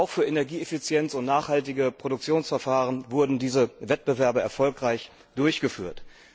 Auch für Energieeffizienz und nachhaltige Produktionsverfahren wurden diese Wettbewerbe erfolgreich durchgeführt.